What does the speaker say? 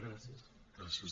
gràcies